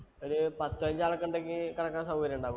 ഒരു പത്തോ, അഞ്ചോ ആളുണ്ടെങ്കിൽ കിടക്കാൻ സൗകര്യം ഉണ്ടാവുമോ?